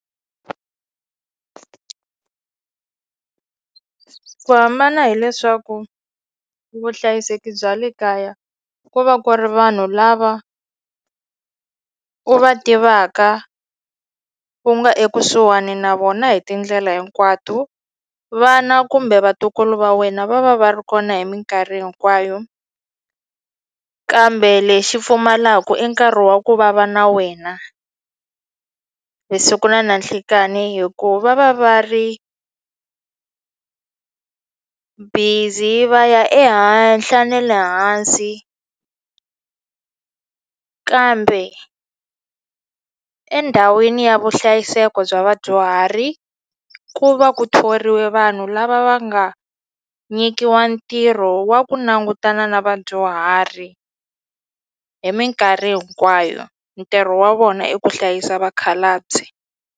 Ku hambana hileswaku vuhlayiseki bya le kaya ku va ku ri vanhu lava u va tivaka u nga ekusuhani na vona hi tindlela hinkwato vana kumbe vatukulu va wena va va va ri kona hi minkarhi hinkwayo kambe lexi pfumalaku i nkarhi wa ku vava na wena vusiku na nanhlikani hi ku va va ri busy va ya ehenhla ne le hansi kambe endhawini ya vuhlayiseko bya vadyuhari ku va ku thoriwe vanhu lava va nga nyikiwa ntirho wa ku langutana na vadyuhari hi minkarhi hinkwayo ntirho wa vona i ku hlayisa vakhalabye.